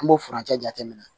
An b'o furancɛ jateminɛ